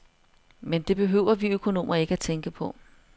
Men det behøver vi økonomer ikke tænke på.